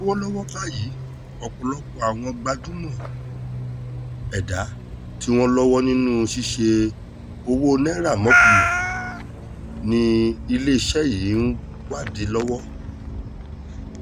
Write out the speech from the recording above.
lọ́wọ́lọ́wọ́ báyìí ọ̀pọ̀lọpọ̀ àwọn gbajúmọ̀ ẹ̀dà tí wọ́n lọ́wọ́ nínú ṣíṣe owó naira mọ̀kùmọ̀kù ni iléeṣẹ́ yìí ń wádìí lọ́wọ́